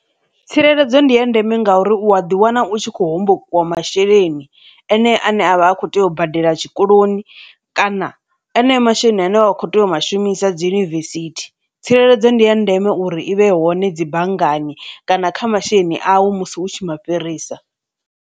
Tsireledzo ndi ya ndeme ngauri u a ḓi wana u tshi kho hombokiwa masheleni enea ane avha a kho tea u badela tshikoloni kana enea masheleni ane wa kho tea u shumisa dzi yunivesithi, tsireledzo ndi ya ndeme uri i vhe hone dzi banngani kana kha masheleni awu musi hu tshi ma fhirisa.